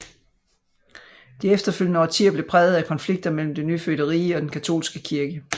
De efterfølgende årtier blev præget af konflikter mellem det nyfødte rige og den katolske kirke